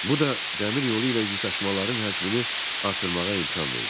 Bu da dəmir yolu ilə yük daşımaların həcmini artırmağa imkan verdi.